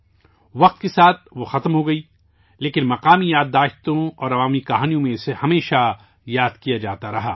وہ وقت کے ساتھ غائب ہو گئی، لیکن مقامی یادداشتوں اور عوامی داستانوں میں اسے ہمیشہ یاد کیا جاتا رہا